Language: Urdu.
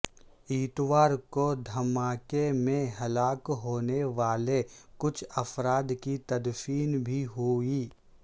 اتوار کو دھماکے میں ہلاک ہونے والے کچھ افراد کی تدفین بھی ہوئی